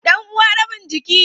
Dan uwa rabin jiki